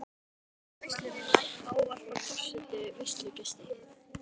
Undir lok veislunnar ávarpar forseti veislugesti.